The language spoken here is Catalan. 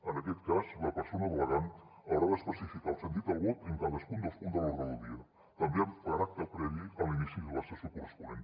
en aquest cas la persona delegant haurà d’especificar el sentit del vot en cadascun dels punts de l’ordre del dia també amb caràcter previ a l’inici de la sessió corresponent